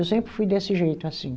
Eu sempre fui desse jeito, assim.